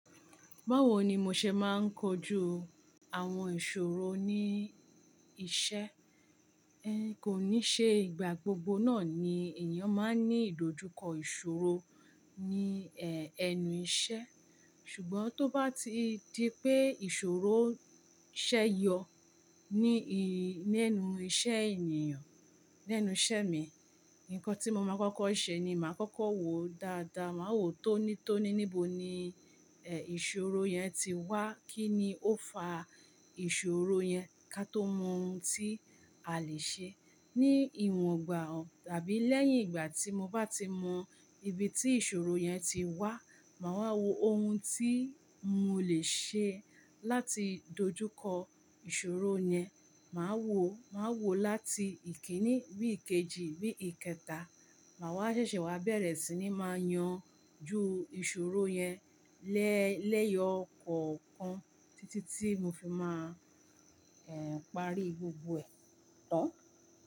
Báwo ni mo ṣe máa ń kojú àwọn ìṣòro ní iṣẹ́? Ẹ kò ní ṣe ìgbà gbogbo náà ni ènìyàn máa ń ní ìdojúkọ ìṣòro ní ẹnu iṣẹ́. Ṣùgbọ́n tó bá ti di pé ìṣòro ṣẹ́ yọ ní enú iṣẹ́ ènìyàn, lẹ́nu iṣẹ́ mi, nǹkan tí mo máa kọ́kọ́ ṣe ni màá kọ́kọ́ wo dáadáa, màá wo tonítoní níbo ni ìṣòro yan ti wá, kí ni ó fa ìṣòro yan ká tó mọ ohun tí a lè ṣe ní ìwọ̀n ọgbà tàbí lẹ́yìn ìgbà tí mo bá ti mọ ibi tí ìṣòro yan ti wá, màá wá wo ohun tí mo lè ṣe láti dojúkọ ìṣòro yan. Màá wò, màá wò láti ìkíní bí ìkejì bí ìkẹta, màá wá ṣẹ̀ṣẹ̀ wá bẹ̀rẹ̀ sí ní máa yanjú ìṣòro yan lẹ́ẹ̀ lẹ́yọ̀ ọ̀kọ̀ọ̀kan títí tí mo fi máa parí gbogbo ẹ̀ tán.